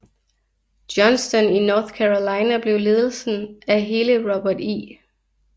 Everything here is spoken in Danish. Johnston i North Carolina blev ledelsen af hele Robert E